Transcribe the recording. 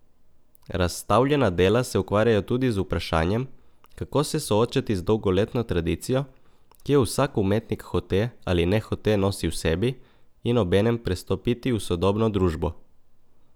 Razstavljena dela se ukvarjajo tudi z vprašanjem, kako se soočati z dolgoletno tradicijo, ki jo vsak umetnik hote ali nehote nosi v sebi, in obenem prestopiti v sodobno družbo.